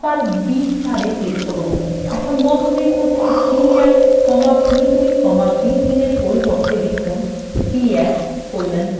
এখন বন্ধনীর মধ্যে b1 comma b2 comma b3 এর পরিবর্তে লিখুন b1colon b3